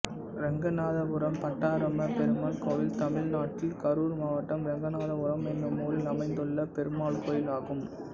ரெங்கநாதபுரம் பட்டாபிராம பெருமாள் கோயில் தமிழ்நாட்டில் கரூர் மாவட்டம் ரெங்கநாதபுரம் என்னும் ஊரில் அமைந்துள்ள பெருமாள் கோயிலாகும்